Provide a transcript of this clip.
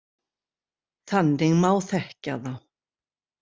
Þannig má þekkja þá.